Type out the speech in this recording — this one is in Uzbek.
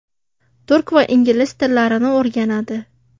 Turk va ingliz tillarini o‘rganadi.